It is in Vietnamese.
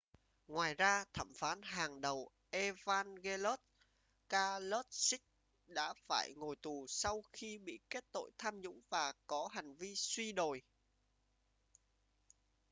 ngoài ra thẩm phán hàng đầu evangelos kalousis đã phải ngồi tù sau khi bị kết tội tham nhũng và có hành vi suy đồi